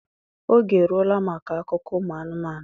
oge eruola maka akụkọ umu anụmanụ